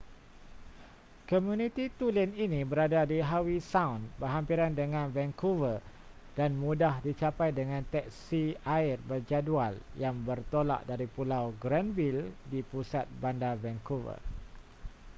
komuniti tulen ini berada di howe sound berhampiran dengan vancouver dan mudah dicapai dengan teksi air berjadual yang bertolak dari pulau granville di pusat bandar vancouver